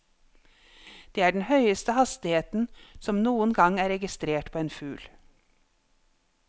Dette er den høyeste hastigheten som noen gang er registrert på en fugl.